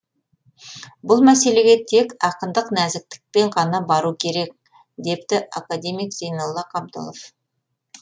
бұл мәселеге тек ақындық нәзіктікпен ғана бару керек депті академик зейнолла қабдолов